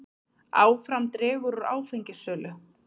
Áfram dregur úr áfengissölu